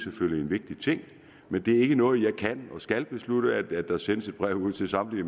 vigtig ting men det er ikke noget jeg kan og skal beslutte at der sendes et brev ud til samtlige